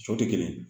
So tɛ kelen ye